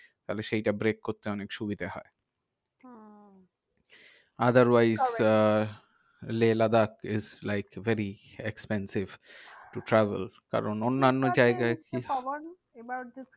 তাহলে সেইটা break করতে অনেক সুবিধা হয়। ওহ otherwise uh Leh Ladakh is like very expensive to travel কারণ অন্যান্য জায়গায় mister পাবন এবার যদি